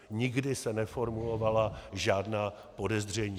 Nikdy se neformulovala žádná podezření.